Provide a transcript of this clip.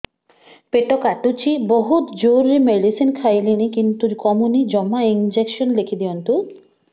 ପେଟ କାଟୁଛି ବହୁତ ଜୋରରେ ମେଡିସିନ ଖାଇଲିଣି କିନ୍ତୁ କମୁନି ଜମା ଇଂଜେକସନ ଲେଖିଦିଅନ୍ତୁ